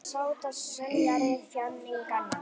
Þú ert aðeins sáttasemjari þjáninganna.